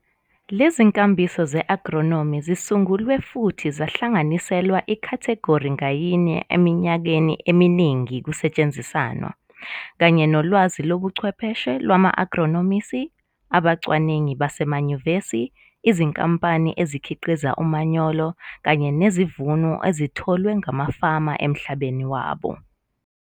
Lezinkambiso ze-agronomi zisungulwe futhi zahlanganiselwa ikhathegori ngayinye eminyakeni eminingi kusetshenzisanwa, kanye nolwazi lobuchwepheshe lwama-agronomisi, abacwaningi basemanyuvesi, izinkampani ezikhiqiza umanyolo, kanye nesivuno esitholwe ngamafama emhlabeni wabo.